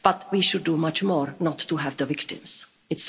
But we should do much more not to have the victims.